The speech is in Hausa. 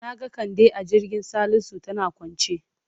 Na ga Kande a kirjin Salisu tana kwance.